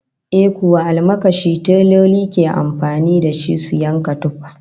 Eh kuwa, almakashi teloli ke amfani da shi su yanka tufa